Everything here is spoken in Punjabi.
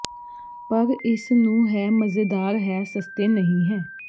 ਪਰ ਇਸ ਨੂੰ ਹੈ ਮਜ਼ੇਦਾਰ ਹੈ ਸਸਤੇ ਨਹੀ ਹੈ